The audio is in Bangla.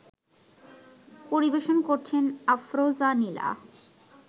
পরিবেশন করছেন আফরোজা নীলা